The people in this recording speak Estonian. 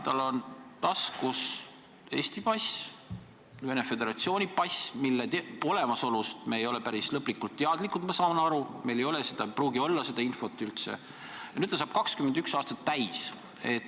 Tal on taskus Eesti pass ja Venemaa Föderatsiooni pass, mille olemasolust me ei ole päris lõplikult teadlikud – ma saan aru, et meil ei pruugi olla seda infot –, ja nüüd saab ta 21 aastat täis.